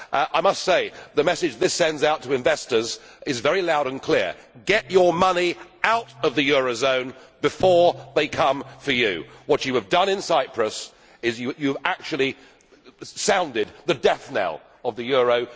I must say, the message this sends out to investors is very loud and clear get your money out of the eurozone before they come for you. What you have done in Cyprus has actually sounded the death knell of the euro.